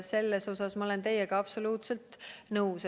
Selles osas ma olen teiega absoluutselt nõus.